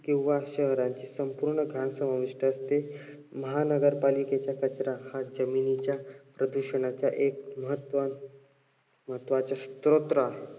किंवा शहराची संपूर्ण घाण समाविष्ट असते. महानगरपालिकेचा कचरा हा जमिनीच्या प्रदूषणाच्या महत्व महत्वाचा सरोत्र आहे.